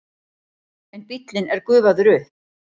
En bíllinn er gufaður upp.